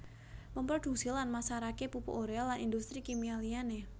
Memproduksi lan masarake pupuk urea lan industri kimia liyane